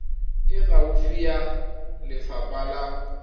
e gaufi ya lefapha la